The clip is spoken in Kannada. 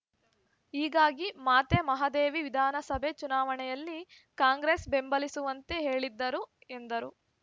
ಹೀಗಾಗಿ ಮಾತೆ ಮಹಾದೇವಿ ವಿಧಾನಸಭೆ ಚುನಾವಣೆಯಲ್ಲಿ ಕಾಂಗ್ರೆಸ್‌ ಬೆಂಬಲಿಸುವಂತೆ ಹೇಳಿದ್ದರು ಎಂದರು